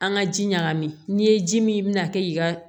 An ka ji ɲagami n'i ye ji min i bi na kɛ i ka